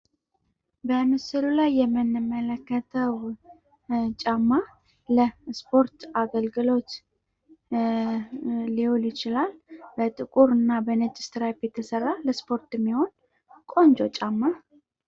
በምስሉ ላይ የምንመለከተው ጫማ ለእስፖርት አገልግሎት ሊውል ይችላል፤ በጥቁርና በነጭ የተሰራ ለእስፖርት የሚሆን ቆንጆ ጫማ ነው።